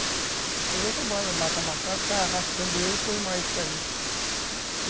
Aí você mata o macaco, sai arrastando ele e põe uma isca ali.